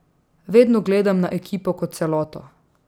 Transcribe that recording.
Vedno gledam na ekipo kot celoto.